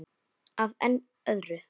Að enn öðru.